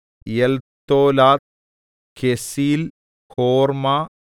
എൽതോലദ് കെസീൽ ഹോർമ്മ